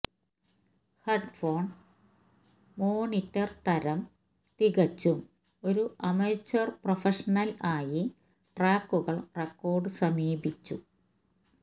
headphone monitor തരം തികച്ചും ഒരു അമച്വർ പ്രൊഫഷണൽ ആയി ട്രാക്കുകൾ റെക്കോർഡ് സമീപിച്ചു